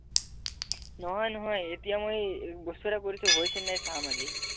নহয় নহয় এতিয়া মই এ এটা কৰিচো হৈচেনে চাম আজি